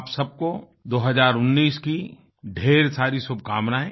आप सबको 2019 की ढ़ेर सारी शुभकामनाएं